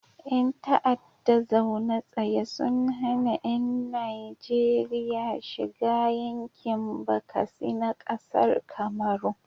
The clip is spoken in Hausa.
Ƴan ta'adda zaune tsaye sun hana yan Najeria shiga yankin bakasi na kasar kamaru